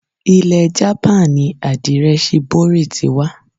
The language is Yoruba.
Ilẹ̀ japan ni àdirẹ shibori ti wa.